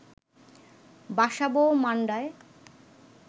বাসাবো ও মান্ডায়